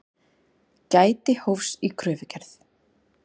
Gæti hófs í kröfugerð